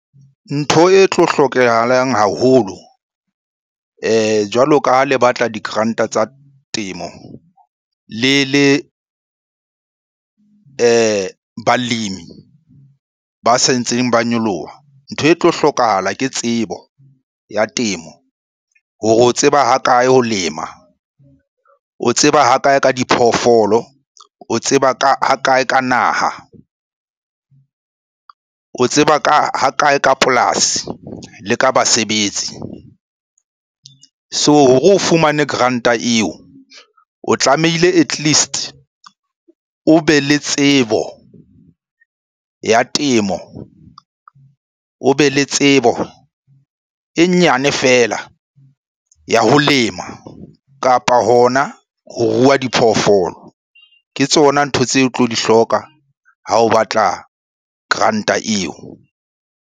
Ntho e tlo hlokahalang haholo jwalo ka ha le batla di-grant-a tsa temo le le balemi ba se ntseng ba nyoloha. Ntho e tlo hlokahala ke tsebo ya temo hore o tseba hakae ho lema? O tseba hakae ka diphoofolo? O tseba hakae ka naha? O tseba ha kae ka polasi le ka basebetsi? So, hore o fumane grant-a eo, o tlamehile at least o be le tsebo ya temo, o be le tsebo e nyane feela ya ho lema, kapa hona ho rua diphoofolo. Ke tsona ntho tseo o tlo di hloka ha o batla grant-a eo.